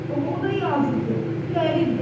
Axı o da yazıqdır, qəribdir.